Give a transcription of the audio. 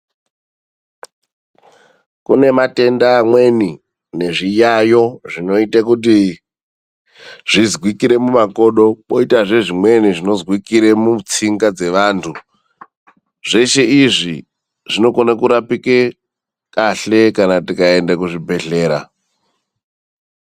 Kune matenda amweni nezviyayo zvinoite kuti zvizwikire mumakodo koitazve amweni zvinozwikira mutsinga dzevandu zveshe izvi zvinokone kurapika kahle kana tikaenda kuzvibhedhlera .